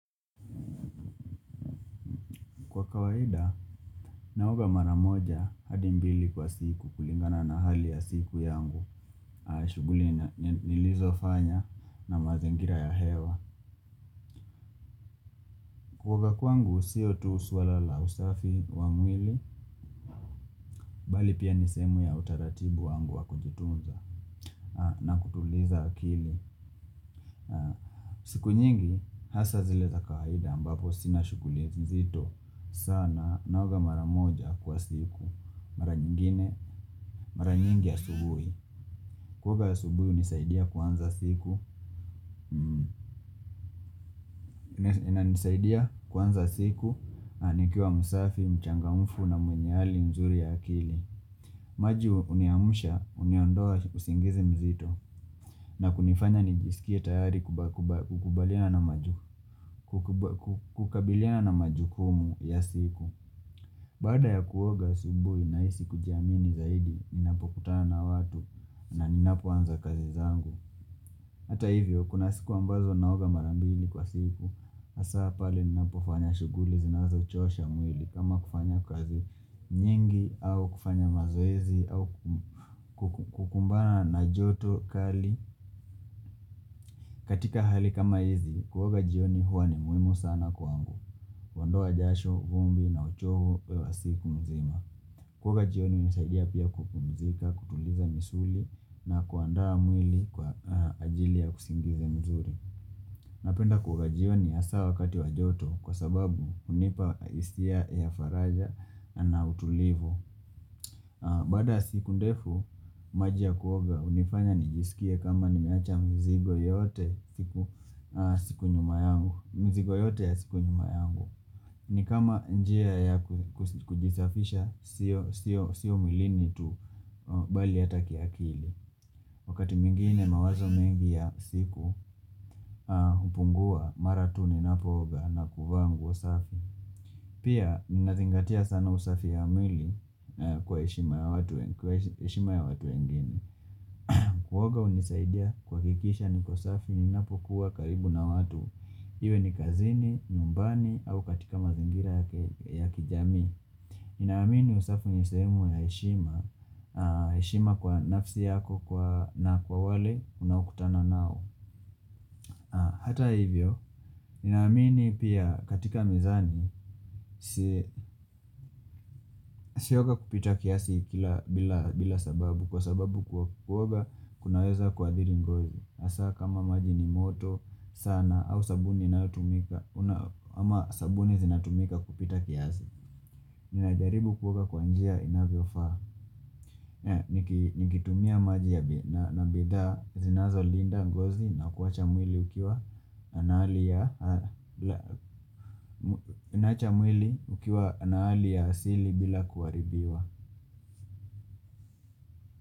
Kwa kawaida, naoga maramoja hadi mbili kwa siku kulingana na hali ya siku yangu, shughuli nilizo fanya na mazingira ya hewa. Kuoga kwangu, siotu suala la usafi wa mwili, bali pia nisehemu ya utaratibu wangu wa kujutunza na kutuliza akili. Siku nyingi, hasa zileza kawaida ambapo sina shughuli nzito sana. Naoga maramoja kwa siku Mara nyingine, mara nyingi asubuhi Kuoga ya subuhi hunisaidia kuanza siku na nisaidia kuanza siku nikiwa msafi, mchangamfu na mwenye hali mzuri ya akili maji huniamusha, uniondolea usingizi mzito na kunifanya nijisikie tayari kukabiliana na majukumu ya siku Baada ya kuoga asubuhi nahisi kujiamini zaidi Ninapokutana na watu na ninapoanza kazi zangu Hata hivyo, kuna siku ambazo naoga marambili kwa siku hasa pale ninapofanya shughuli zinazochosha mwili kama kufanya kazi nyingi au kufanya mazoezi au kukumbana na joto kali katika hali kama hizi, kuoga jioni huwa ni muhimu sana kwaangu huondoa jasho, vumbi na uchovu wa siku mzima. Kuoga jioni hunisaidia pia kupumzika, kutuliza misuli na kuandaa mwili kwa ajili ya usingizi mzuri Napenda kuoga jioni hasa wakati wa joto kwa sababu hunipa hisia ya faraja na utulivu Baada siku ndefu maji ya kuoga hunifanya nijisikie kama nimeacha mzigo yote siku nyuma yangu mzigo yote ya siku nyuma yangu. Ni kama njia ya kujisafisha Sio mwilini tu bali hata kiakili Wakati mwingine mawazo mingi ya siku, hupungua mara tu ninapooga na kuvaa nguo safi. Pia, ninazingatia sana usafi ya mwili kwa heshima ya watu wengine. Kuoga hunisaidia kuhakikisha niko safi ninapokua karibu na watu Iwe ni kazini, nyumbani au katika mazingira ya kijamii Ninaamini usafi ni sehemu ya heshima, aah heshima kwa nafsi yako na kwa wale unaokutana nao. Hata hivyo, ninaamini pia katika mizani usioge kupita kiasi kila bila sababu Kwa sababu kuoga kunaweza kuathiri ngozi hasa kama maji ni moto sana au sabuni inaotumika ama sabuni zinatumika kupita kiasi Ninajaribu kuoga kwa njia inavyofaa. Nikitumia maji ya na bidhaa zinazolinda ngozi na kuacha mwili ukiwa na hali ya asili bila kuharibiwa.